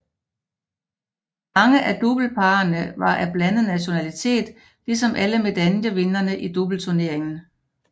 Mange af doubleparene var af blandet nationalitet ligesom alle medaljevindere i doubleturneringen